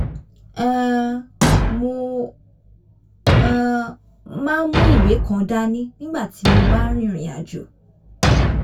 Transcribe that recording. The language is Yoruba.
um mo um máa ń mú ìwé kan dání nígbà tí mo bá ń rìnrìn àjò